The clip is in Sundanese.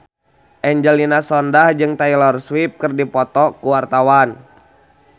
Angelina Sondakh jeung Taylor Swift keur dipoto ku wartawan